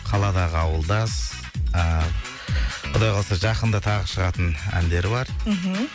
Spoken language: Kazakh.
қаладағы ауылдас ыыы құдай қаласа жақында тағы шығатын әндері бар мхм